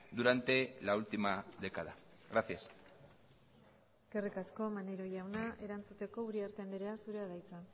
durante la última década gracias eskerrik asko maneiro jauna erantzuteko uriarte andrea zurea da hitza